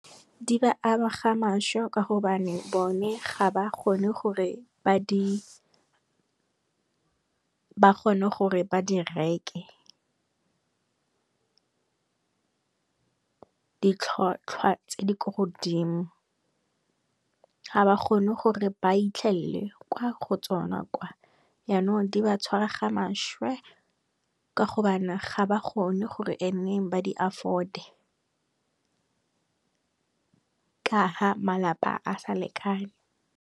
Di ba ama ga mašwe ka gobane bone ga ba kgone gore ba di reke. Di tlhwatlhwa tse di ko godimo, ga ba kgone gore ba itlhelele kwa go tsona kwa yanong di ba tshwara ga mašwe ka gobane ga ba kgone gore nneng ba di afford-e ka ha malapa a sa lekane.